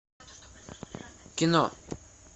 кино